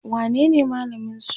wanene malamin su?